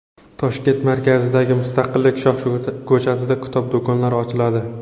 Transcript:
Toshkent markazidagi Mustaqillik shohko‘chasida kitob do‘konlari ochiladi.